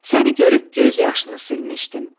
Səni görüb göz yaşını silmişdim.